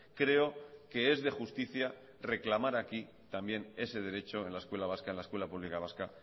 creo que es de justicia reclamar aquí también ese derecho en la escuela vasca en la escuela pública vasca